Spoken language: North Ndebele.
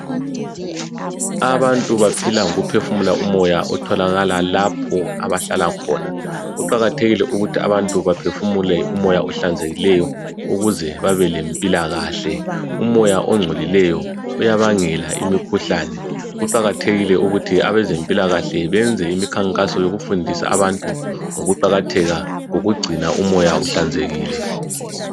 Abantu baphila ngokuphefumula umoya otholakala lapho abahlala khona kuqakathekile ukuthi abantu baphefumule umoya ohlanzekile ukuze babelempilakahle umoya ogcolileyo uyabangela imikhuhlane kuqakathekile ukuthi abezempilakahle benze imikhankaso yokufundisa abantu ngokuqakatheka kokugcina umoya uhlanzekile.